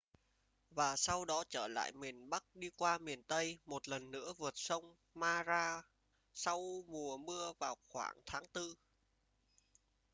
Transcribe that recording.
và sau đó trở lại miền bắc đi qua miền tây một lần nữa vượt sông mara sau mùa mưa vào khoảng tháng tư